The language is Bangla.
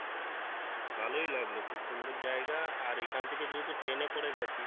ভালোই লাগলো খুব সুন্দর জায়গা আর এখন থেকে যেহেতু plain এ করে গেছি।